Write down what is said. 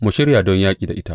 Mu shirya don yaƙi da ita!